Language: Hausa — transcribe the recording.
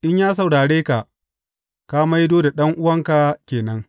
In ya saurare ka, ka maido da ɗan’uwanka ke nan.